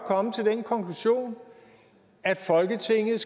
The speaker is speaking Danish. komme til den konklusion at folketinget